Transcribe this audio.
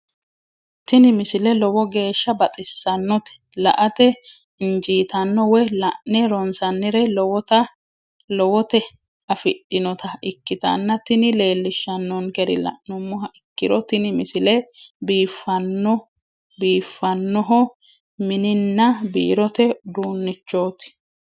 tini misile lowo geeshsha baxissannote la"ate injiitanno woy la'ne ronsannire lowote afidhinota ikkitanna tini leellishshannonkeri la'nummoha ikkiro tini misile biifannoho mininna biirote uduunnichooti.